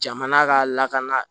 Jamana ka lakana